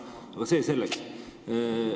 Aga see selleks.